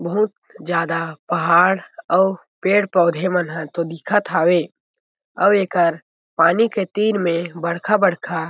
बहुत ज्यादा पहाड़ अउ पेड़-पौधे मन ह दिखत हावे अउ एकर पानी के तीर में बड़का-बड़का--